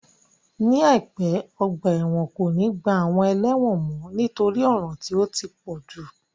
Ní àìpé, ọgbà ẹ̀wọ̀n kò ní gba àwọn ẹlẹ́wọ̀n mọ nítorí ọ̀ràn tí ó ti pọ̀jù